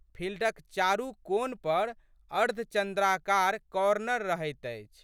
फिल्डक चारू कोन पर अर्ध चन्द्राकार कॉर्नर रहैत अछि।